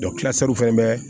kilasi fana bɛ